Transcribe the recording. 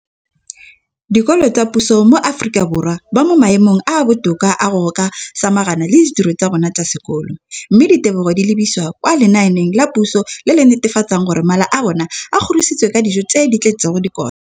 Dikolo tsa puso mo Aforika Borwa ba mo maemong a a botoka a go ka samagana le ditiro tsa bona tsa sekolo, mme ditebogo di lebisiwa kwa lenaaneng la puso le le netefatsang gore mala a bona a kgorisitswe ka dijo tse di tletseng dikotla.